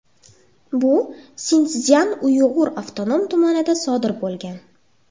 Bu Sinszyan-Uyg‘ur avtonom tumanida sodir bo‘lgan.